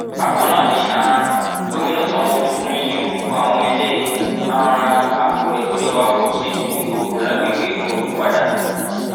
bákan náà ni um gomina sanwóolu tún yí orúkọ àwọn ilé um akọgbẹ tíjọba kọ sílùú ìgbogbo lágbègbè ìkòròdú padà